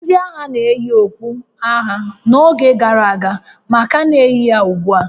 Ndị agha na-eyi okpu agha n'oge gara aga ma ka na-eyi ya ugbu a